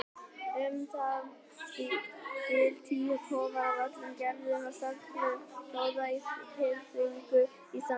Um það bil tíu kofar af öllum gerðum og stærðum stóðu í þyrpingu á sandinum.